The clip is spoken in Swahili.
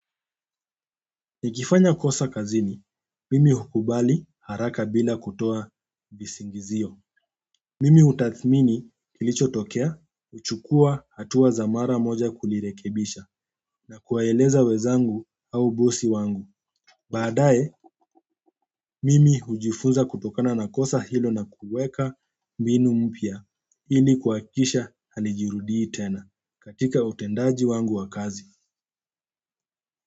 Nikifanya kosa kazini, mimi hukubali haraka bila kutoa visingizio. Mimi utathmini kilichotokea, huchukua hatua za mara moja kulirekebisha na kuwaeleza wenzangu au bosi wangu. Baadaye, mimi hujifunza kutokana na kosa hilo na kuweka mbinu mpya ili kuhakisha halijirudii tena katika utendaji wangu wa kazi.